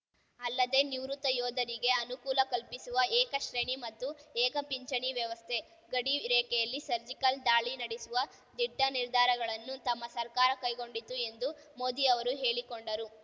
ಅಲ್ಲದೆ ನಿವೃತ್ತ ಯೋಧರಿಗೆ ಅನುಕೂಲ ಕಲ್ಪಿಸುವ ಏಕ ಶ್ರೇಣಿ ಮತ್ತು ಏಕ ಪಿಂಚಣಿ ವ್ಯವಸ್ಥೆ ಗಡಿ ರೇಖೆಯಲ್ಲಿ ಸರ್ಜಿಕಲ್‌ ದಾಳಿ ನಡೆಸುವ ದಿಟ್ಟನಿರ್ಧಾರಗಳನ್ನು ತಮ್ಮ ಸರ್ಕಾರ ಕೈಗೊಂಡಿತು ಎಂದು ಮೋದಿ ಅವರು ಹೇಳಿಕೊಂಡರು